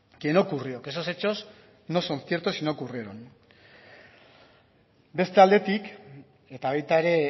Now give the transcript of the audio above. que no ocurrió que esos hechos no son ciertos y no ocurrieron beste aldetik eta baita ere